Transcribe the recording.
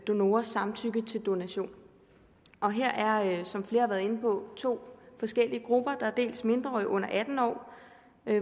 donorers samtykke til donation og her er som flere har været inde på to forskellige grupper der er dels mindreårige under atten år